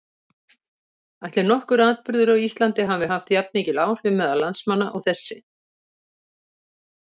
Ætli nokkur atburður á Íslandi hafi haft jafnmikil áhrif meðal landsmanna og þessi?